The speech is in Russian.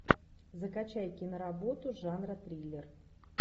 закачай киноработу жанра триллер